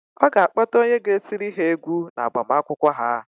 Ọ ga-akpọta onye ga-etiri ha égwú n' agbamakwụkwọ ha.